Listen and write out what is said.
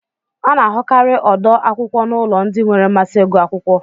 A na-ahụkarị ọdo akwụkwọ n'ụlọ ndị nwere mmasị ịgụ akwụkwọ